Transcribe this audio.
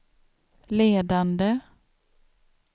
ledande